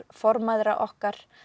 formæðra okkar